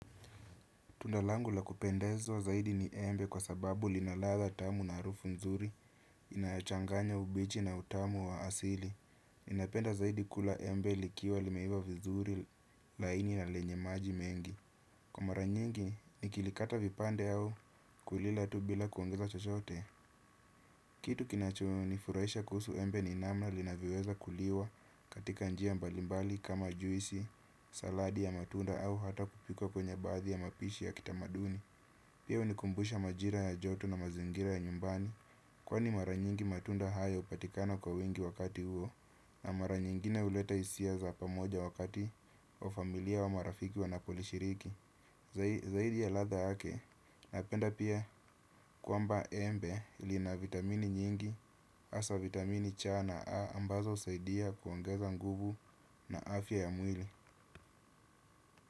Tunda langu la kupendezwa zaidi ni embe kwa sababu lina ladha tamu na harufu nzuri, inachanganya ubichi na utamu wa asili. Ninapenda zaidi kula embe likiwa limeiva vizuri, laini na lenye maji mengi. Kwa mara nyingi, nikilikata vipande au kulila tu bila kuongeza chochote. Kitu kinachonifuraisha kuhusu embe ni namna linavyoweza kuliwa katika njia mbalimbali kama juisi, saladi ya matunda au hata kupikwa kwenye baadhi ya mapishi ya kitamaduni. Pia unikumbusha majira ya joto na mazingira ya nyumbani kwa ni mara nyingi matunda haya upatikana kwa wingi wakati huo na mara nyingine uleta hisia za pamoja wakati wa familia au marafiki wanapulishiriki. Zaidi ya ladha yake napenda pia kwamba embe lina vitamini nyingi hasa vitamini C na A ambazo husaidia kuongeza nguvu na afya ya mwili.